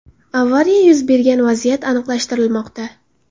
Avariya yuz bergan vaziyat aniqlashtirilmoqda.